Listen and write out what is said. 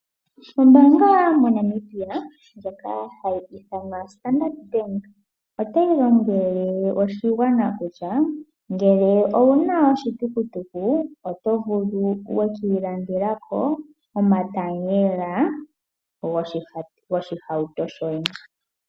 Ombaanga moNamibia ndjoka hayi ithanwa Standard Bank, otayi lombwele oshigwana kutya ngele owu na oshitukutuku, oto vulu wu ka ilandela ko omatayela goshihauto shoye.